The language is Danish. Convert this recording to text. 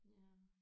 Ja